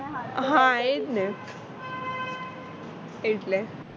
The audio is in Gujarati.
હા એ જ ને એટલે